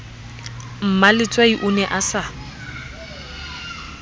mmaletswai o ne a sa